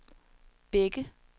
Bække